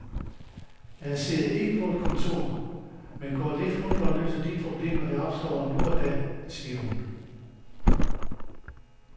Jeg sidder ikke på et kontor, men går lidt rundt og løser de problemer, der opstår nu og da, siger hun.